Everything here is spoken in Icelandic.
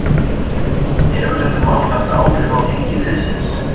Hefur þetta mál haft áhrif á gengi liðsins?